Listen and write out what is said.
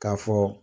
K'a fɔ